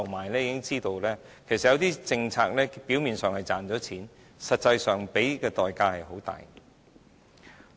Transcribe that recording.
當局已經知道有些政策表面上賺錢，實際上付出的代價很大。